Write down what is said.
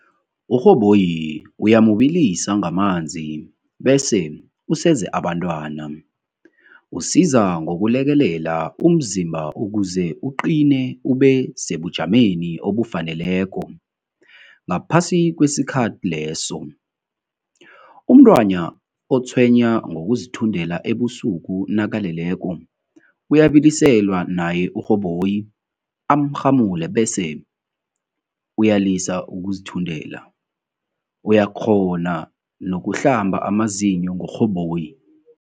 URhoboyi uyamubilisa ngamanzi bese useze abantwana, usiza ngokulekelela umzimba ukuze uqine ube sebujameni obufaneleko ngaphasi kwesikhathi leso, Umntwana otshwenya ngokuzithundela ebusuku nakaleleko uyabiliselwa naye uRhoboyi am'rhamule bese uyalisa ukuzithundela, uyakghona nokuhlamba amazinyo ngoRhoboyi.